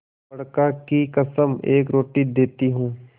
बड़का की कसम एक रोटी देती हूँ